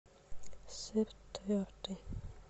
сыр твердый